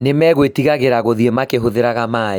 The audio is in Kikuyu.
Nĩ magũĩtigagĩra gũthiĩ makĩhũthira maaĩ